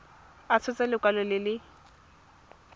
a tshotse lekwalo le le